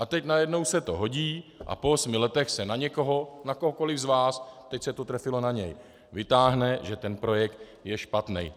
A teď najednou se to hodí a po osmi letech se na někoho, na kohokoliv z nás, teď se to trefilo na něj, vytáhne, že ten projekt je špatný.